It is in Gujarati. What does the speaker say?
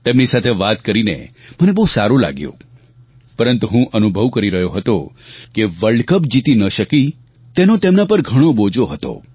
તેમની સાથે વાત કરીને મને બહુ સારું લાગ્યું પરંતુ હું અનુભવ કરી રહ્યો હતો કે વર્લ્ડ કપ જીતી ન શકી તેનો તેમના પર ઘણો બોજો હતો